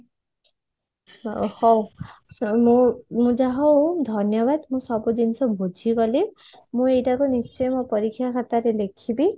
ହଉ ମୁଁ ମୁଁ ଯାହା ହଉ ଧନ୍ୟବାଦ ମୁଁ ସବୁ ଜିନିଷ ବୁଝି ଗଲି ମୁଁ ଏଇଟା କୁ ନିଶ୍ଚୟ ମୋ ପରୀକ୍ଷା ଖାତାରେ ଲେଖିବୀ